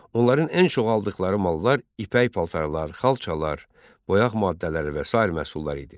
Onların ən çox aldıqları mallar ipək paltarlar, xalçalar, boyaq maddələri və sair məhsullar idi.